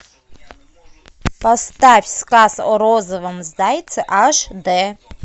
поставь сказ о розовом зайце аш дэ